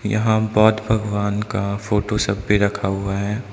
यहां बौद्ध भगवान का फोटो सब भी रखा हुआ है।